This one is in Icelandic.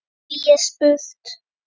Hví er spurt?